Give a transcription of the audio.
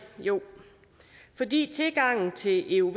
jo fordi tilgangen til euv